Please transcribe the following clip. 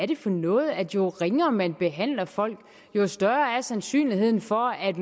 det for noget at jo ringere man behandler folk jo større er sandsynligheden for at